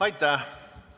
Aitäh!